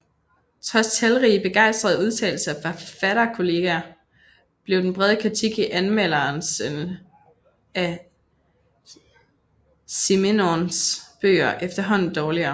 Trods talrige begejstrede udtalelser fra forfatterkolleger blev den brede kritik i anmeldelserne af Simenons bøger efterhånden dårligere